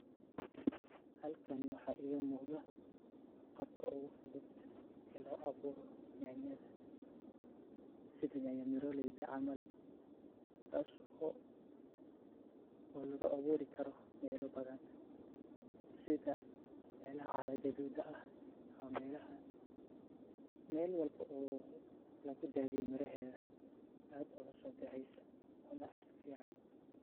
Halkani waxa iga muqdah qaabka ugu fuuthut oo lo abuuroh nyanyatha setha nyanyatha maroleey caml taaso oo loga abuurikaroh meela bathan setha meelaha caaro Gathoda aah, meelaha meel walboo lagu daatheeyoh miraheetha aad Aya u so baxeesah Wana ficantahay.